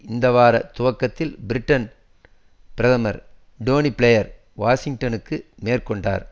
இந்த வார துவக்கத்தில் பிரிட்டன் பிரதமர் டோனி பிளேயர் வாஷிங்டனுக்கு மேற்கொண்டார்